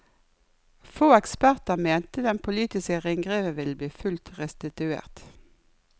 Få eksperter mente den politiske ringreven ville bli fullt restituert.